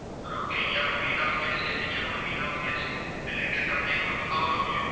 બરોબર કે અહીંયા પણ Green house gas છે અને અહીંયા Green house gas છે એટલે કે તમને એક ખબર હોવી જોઇએ